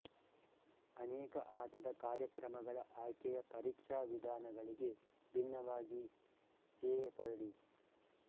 ಅನೇಕ ಆಟದ ಕಾರ್ಯಕ್ರಮಗಳ ಆಯ್ಕೆಯ ಪರೀಕ್ಷಾ ವಿಧಾನಗಳಿಗೆ ಭಿನ್ನವಾಗಿ ಜೆಪರ್ಡಿ